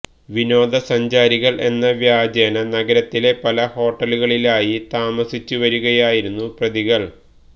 വിനോദസഞ്ചാരികൾ എന്ന വ്യാജേന നഗരത്തിലെ പല ഹോട്ടലുകളിലായി താമസിച്ചു വരികയായിരുന്ന പ്രതികൾ